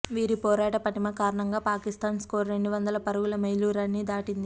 వీరి పోరాట పటిమ కారణంగా పాకిస్తాన్ స్కోరు రెండు వందల పరుగుల మైలురాయిని దాటింది